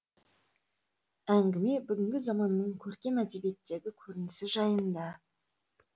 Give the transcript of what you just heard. әңгіме бүгінгі заманның көркем әдебиеттегі көрінісі жайында